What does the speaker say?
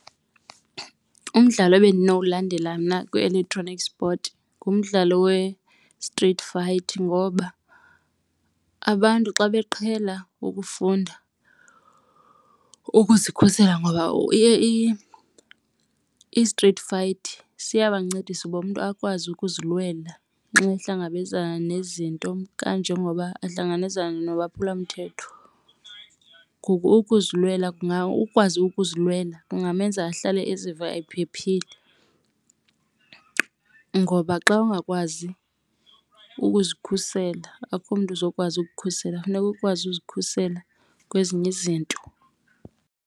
Umdlalo ebendinowulandela mna kwi-electronic sport ngumdlalo we-street fight. Ngoba abantu xa beqhela ukufunda ukuzikhusela ngoba i-street fight siyabancedisa uba umntu akwazi ukuzilwela nxa ehlangabezana nezinto, kanjengoba ahlangabezane nolwaphulomthetho. Ngoku ukwazi ukuzilwela kungamenza ahlale eziva ephephile ngoba xa ungakwazi ukuzikhusela akukho mntu uzokwazi ukukhusela, funeka ukwazi ukuzikhusela kwezinye izinto.